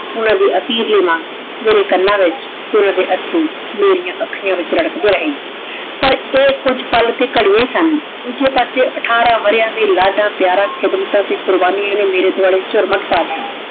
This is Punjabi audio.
ਮੇਰੇ ਅਖੀਰ ਨਾਲ ਮੇਰੇ ਕੰਨਾ ਦੇ ਵਿਚ ਓਹਨਾਂ ਦੇ ਏਥ੍ਰੋ ਮੇਰਿਯਨ ਅਖਿਯ੍ਤਾਂ ਵਿਚ ਰਾਰਾਕ੍ਡੀ ਰਹੀ ਪਰ ਆਯ ਕੁਜ ਪਾਲ ਤੇ ਘਰਿਯਾਂ ਸਨ ਦੋਜਯ ਪਾਸੇ ਤਾਹ੍ਰਾਨਾ ਸਾਲਾਂ ਦੇ ਪਯਾਰਾਂ ਤੇ ਲਾਡਾਂ ਖਿਦ੍ਮਾਤਾਂ ਤੇ ਕ਼ੁਰ੍ਬਾਨਿਯਾਂ ਨੇ ਮੇਰੇ ਦਵਾਲੇ ਝੁਰਮਟ ਪਾ ਲਾਯਾ